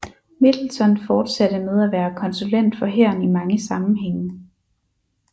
Middleton fortsatte med at være konsulent for hæren i mange sammenhænge